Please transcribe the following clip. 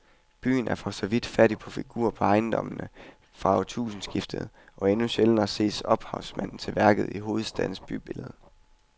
Byen er for så vidt fattig på figurer på ejendommene fra århundredskiftet, og endnu sjældnere ses ophavsmanden til værket i hovedstadens bybillede.